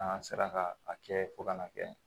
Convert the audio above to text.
An sera ka a kɛ fo ka na kɛ